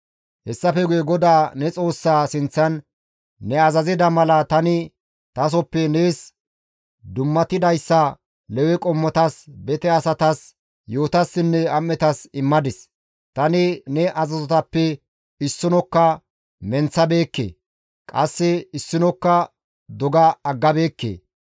Hessafe guye GODAA ne Xoossaa sinththan, «Ne azazida mala tani tasoppe nees dummatidayssa Lewe qommotas, bete asatas, yi7otassinne am7etas immadis; tani ne azazotappe issinokka menththabeekke; qasse issinokka doga aggabeekke.